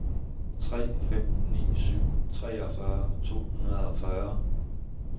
tre fem ni syv treogfyrre to hundrede og fyrre